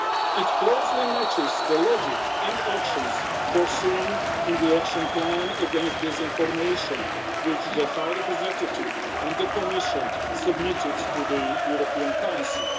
It closely matches the logic and actions set out in the action plan against disinformation which the High Representative and the Commission submitted to the European Council.